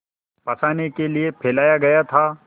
फँसाने के लिए फैलाया गया था